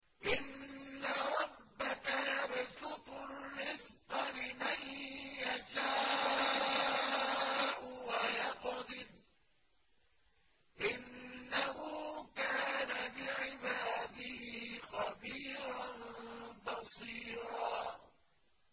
إِنَّ رَبَّكَ يَبْسُطُ الرِّزْقَ لِمَن يَشَاءُ وَيَقْدِرُ ۚ إِنَّهُ كَانَ بِعِبَادِهِ خَبِيرًا بَصِيرًا